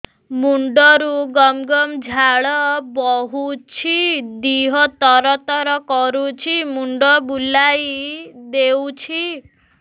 ମୁଣ୍ଡରୁ ଗମ ଗମ ଝାଳ ବହୁଛି ଦିହ ତର ତର କରୁଛି ମୁଣ୍ଡ ବୁଲାଇ ଦେଉଛି